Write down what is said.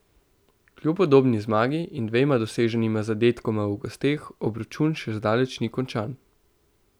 Kljub udobni zmagi in dvema doseženima zadetkoma v gosteh obračun še zdaleč ni končan.